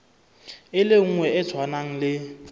e nngwe e tshwanang le